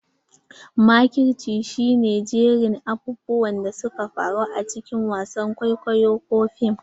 Makirci shi ne jerin abubuwan da suka faru a cikin wasan kwaikwayo ko fim.